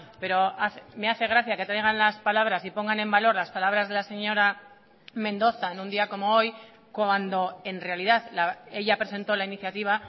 pero me hace gracia que traigan las palabras y pongan en valor las palabras de la señora mendoza en un día como hoy cuando en realidad ella presentó la iniciativa